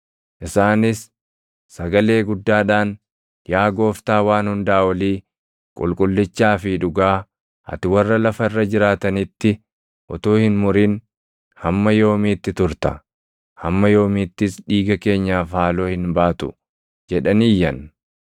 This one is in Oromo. Isaanis sagalee guddaadhaan, “Yaa Gooftaa Waan Hundaa Olii, qulqullichaa fi dhugaa, ati warra lafa irra jiraatanitti utuu hin murin hamma yoomiitti turta? Hamma yoomiittis dhiiga keenyaaf haaloo hin baatu?” jedhanii iyyan.